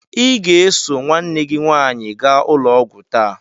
Ị ga-eso nwanne gị nwaanyị gaa ụlọ ọgwụ taa!